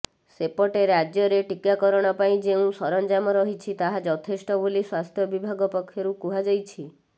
ସେପଟେ ରାଜ୍ୟରେ ଟିକାକରଣ ପାଇଁ ଯେଉଁ ସରଞ୍ଜାମ ରହିଛି ତାହା ଯଥେଷ୍ଟ ବୋଲି ସ୍ୱାସ୍ଥ୍ୟ ବିଭାଗ ପକ୍ଷରୁ କୁହଯାଇଛି